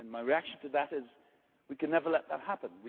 My reaction to that is we can never let that happen.